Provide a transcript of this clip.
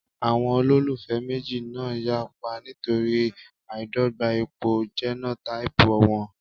Àwọn olólùfẹ́ méjì náà yapa nítorí àìdọ́gba ipò jẹ́nótáípù wọn